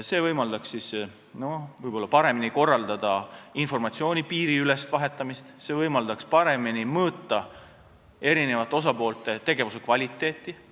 See võimaldaks võib-olla paremini korraldada informatsiooni piiriülest vahetamist, see võimaldaks paremini mõõta eri osapoolte tegevuse kvaliteeti.